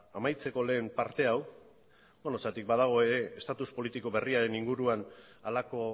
amaitzeko lehen parte hau beno zergatik badago ere estatus politiko berriaren inguruan halako